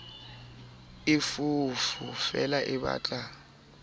e foofo feela e batla